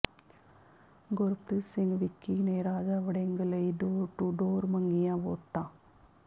ਗੁਰਪ੍ਰੀਤ ਸਿੰਘ ਵਿੱਕੀ ਨੇ ਰਾਜਾ ਵੜਿੰਗ ਲਈ door to door ਮੰਗੀਆਂ ਵੋਟਾਂ